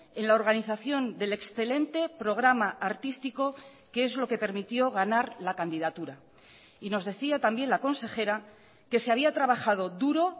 en la organización del excelente programa artístico que es lo que permitió ganar la candidatura y nos decía también la consejera que se había trabajado duro